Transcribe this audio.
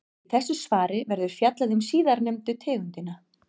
Í þessu svari verður fjallað um síðarnefndu tegundina.